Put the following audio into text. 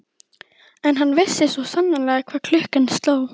En hann vissi svo sannarlega hvað klukkan sló.